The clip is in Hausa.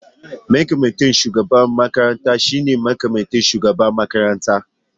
Mataimakin shugaban makarantar shine mataimakin shugaban makarantar.